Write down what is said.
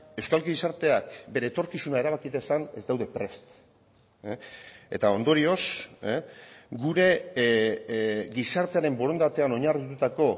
euskal gizarteak bere etorkizuna erabaki dezan ez daude prest eta ondorioz gure gizartearen borondatean oinarritutako